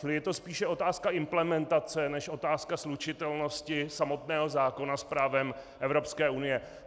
Čili je to spíše otázka implementace než otázka slučitelnosti samotného zákona s právem Evropské unie.